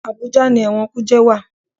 Àbújá ni ẹ̀wọ̀n kùjé wà.